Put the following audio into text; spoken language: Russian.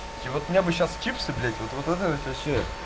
и вот мне бы сейчас чипсы блять вот вот это вот вообще